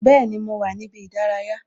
Bẹẹni, mo wà ní ibi ìdárayá